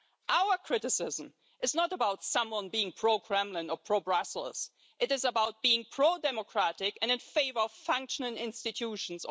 Our criticism is not about someone being pro-Kremlin or pro-Brussels, it is about being pro-democratic and in favour of functioning institutions.